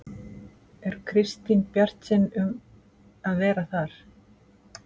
Er Kristín bjartsýn um að vera þar?